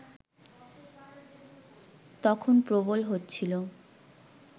তখন প্রবল হচ্ছিল